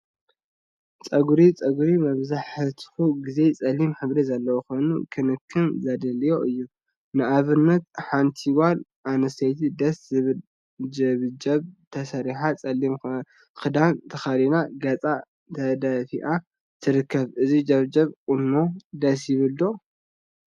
ፀጉሪ ፀጉሪ መብዛሕትኡ ግዜ ፀሊም ሕብሪ ዘለዎ ኮይኑ ክንክን ዘድሊዮ እዩ፡፡ ንአብነት ሓንቲ ጓል አንስተይቲ ደስ ዝብል ጀብጀብ ተሰሪሓ ፀሊም ክዳን ተከዲና ገፃ ተደፊአ ትርከብ፡፡ እዚ ጀብጀብ ቁኖ ደስ ይብል ዶ?